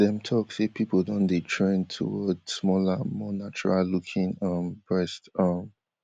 dem tok say pipo don dey trend toward smaller more natural looking um breasts um